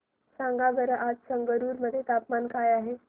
सांगा बरं आज संगरुर मध्ये तापमान काय आहे